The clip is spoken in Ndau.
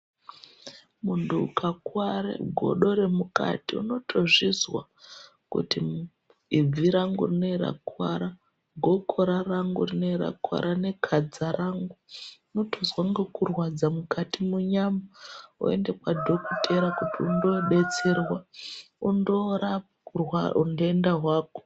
Muntu ukakuware godo remukati ,unotozvizwa kuti ibvi rangu rineri rakuwara, gokora rangu rineri rakuwara, nekhadza rangu ,unotonzwa ngekurwadza mukati munyama, woende kwadhokotera kuti undoobetserwa ,undoorapwa urwa untenda hwako.